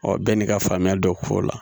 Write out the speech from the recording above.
Ɔ bɛɛ n'i ka faamuya dɔ k'o la